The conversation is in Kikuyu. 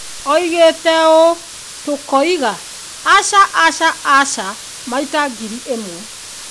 Oigire ũũ: "Tũkoiga, 'Aca, aca, aca,' maita ngiri ĩmwe".